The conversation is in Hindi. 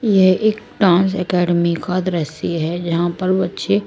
यह एक डांस अकैडमी का दृश्य है यहां पर बच्चे--